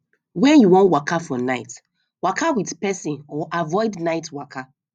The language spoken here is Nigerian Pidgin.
when you wan waka for night waka with person or avoid night waka